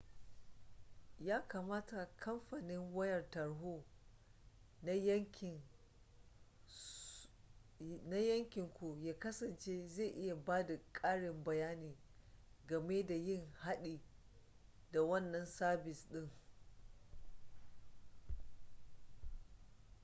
yakamata kamfanin wayar tarho na yankin ku ya kasance zai iya bada ƙarin bayani game da yin haɗi da wannan sabis ɗin